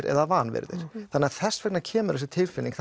eða vanvirðir þannig að þess vegna kemur þessi tilfinning